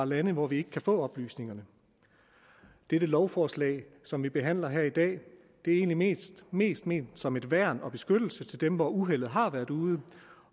lande hvor vi ikke kan få oplysningerne dette lovforslag som vi behandler her i dag er egentlig mest ment som et værn og en beskyttelse til dem hvor uheldet har været ude